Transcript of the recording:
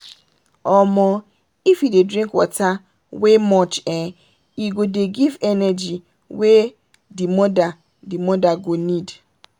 omooo if you dey drink water we much[um]e go dey give energy wey the mother the mother go need.